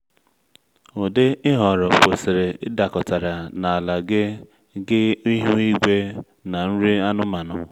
ụdị ị họrọ kwesịrị ịdakọtara na ala gị gị ihu igwe na nri anụmanụ.